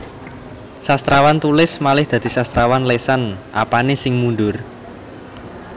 Sastrawan tulis malih dadi sastrawan lesan Apane sing mundur